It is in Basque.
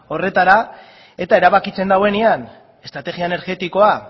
horretara eta erabakitzen duenean estrategia energetikoa